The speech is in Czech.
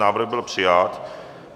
Návrh byl přijat.